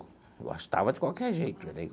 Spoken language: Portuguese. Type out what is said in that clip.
Gostava de qualquer jeito dele.